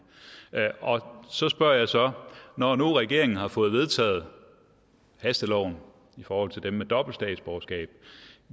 så spørger jeg så når nu regeringen har fået vedtaget hasteloven i forhold til dem med dobbelt statsborgerskab